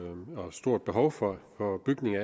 stort behov for